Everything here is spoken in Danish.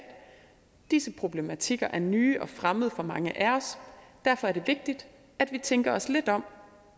disse problematikker er nye og fremmede for mange af os derfor er det vigtigt at vi tænker os lidt om